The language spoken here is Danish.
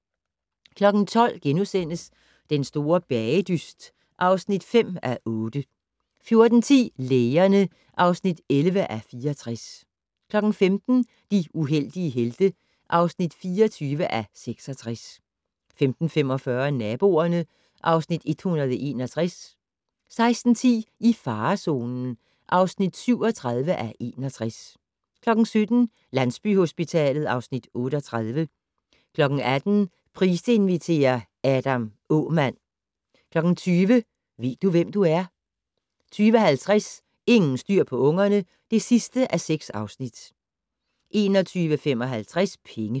12:00: Den store bagedyst (5:8)* 14:10: Lægerne (11:64) 15:00: De heldige helte (24:66) 15:45: Naboerne (Afs. 161) 16:10: I farezonen (37:61) 17:00: Landsbyhospitalet (Afs. 38) 18:00: Price inviterer - Adam Aamann 20:00: Ved du, hvem du er? 20:50: Ingen styr på ungerne (6:6) 21:55: Penge